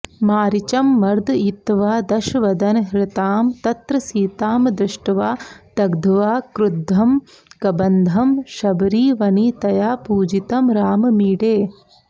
मारीचं मर्दयित्वा दशवदनहृतां तत्र सीतामदृष्ट्वा दग्ध्वा क्रुद्धं कबन्धं शबरिवनितया पूजितं राममीडे